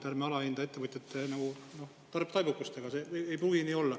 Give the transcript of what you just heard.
Ärme alahindame ettevõtjate taibukust.